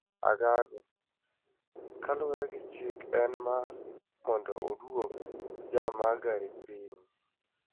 angango, kalure gi chik en mar mondo oduok jam mar gari piny.